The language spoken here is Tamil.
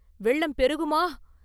வெள்ளம் பெருகுமா?